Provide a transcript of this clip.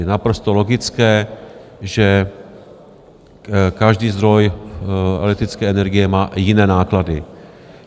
Je naprosto logické, že každý zdroj elektrické energie má jiné náklady.